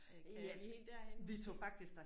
Kan er vi helt derhenne måske